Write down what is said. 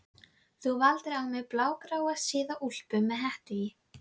Þú valdir á mig blágráa síða úlpu með hettu í